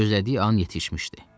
Gözlədiyi an yetişmişdi.